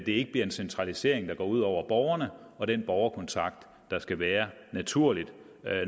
ikke bliver en centralisering der går ud over borgerne og den borgerkontakt der skal være naturligt